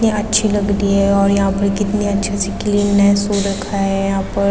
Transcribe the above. कितनी अच्छी लग रही हैं और यहाँ पे कितनी अच्छी से फूल रखा है यहाँ पर।